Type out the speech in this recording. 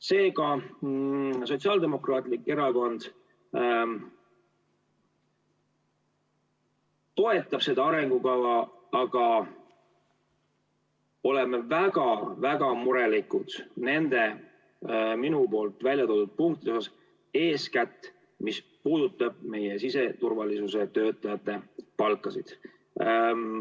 Seega, Sotsiaaldemokraatlik Erakond toetab seda arengukava, aga me oleme väga-väga murelikud nende minu väljatoodud punktide pärast, eeskätt mis puudutab meie siseturvalisuse töötajate palka.